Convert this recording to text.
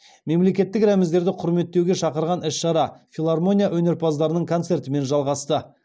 мемлекеттік рәміздерімізді құрметтеуге шақырған іс шара филармония өнерпаздарының концертімен жалғасты